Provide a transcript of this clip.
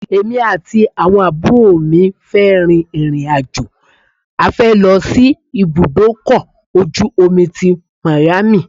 Èmi àti àwọn àbúrò mi fẹ́ rìn ìrìn-àjò afẹ́ lọ sí ibùdó ọkọ̀ ojú omi tí Miami.